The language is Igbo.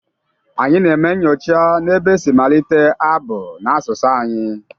Anyị na-eme nnyocha n’ebe e si malite abụ n’asụsụ anyị